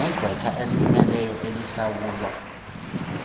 negqwetha elimmeleyo elihlawulwa